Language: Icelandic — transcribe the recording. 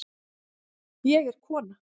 Ég er kona